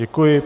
Děkuji.